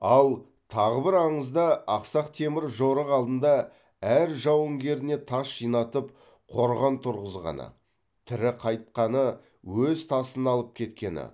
ал тағы бір аңызда ақсақ темір жорық алдында әр жауынгеріне тас жинатып қорған тұрғызғаны тірі қайтқаны өз тасын алып кеткені